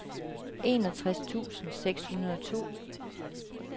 enogtres tusind seks hundrede og to